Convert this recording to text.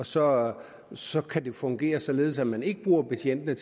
så så kan det fungere således at man ikke bruger betjentene